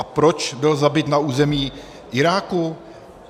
A proč byl zabit na území Iráku?